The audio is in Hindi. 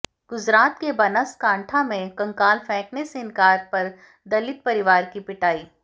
गुजरात के बनासकांठा में कंकाल फेंकने से इनकार पर दलित परिवार की पिटाई